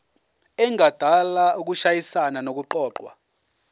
engadala ukushayisana nokuqokwa